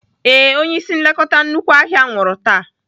Ee, Onye ịsị nlekọta nnukwu ahịa nwụrụ taa.